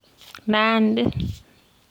Nandi